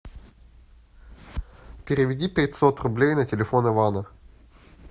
переведи пятьсот рублей на телефон ивана